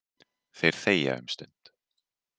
Þeir þegja um stund.